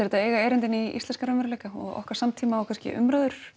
þetta eiga erindi inn í íslenskan raunveruleika og okkar samtíma og kannski umræður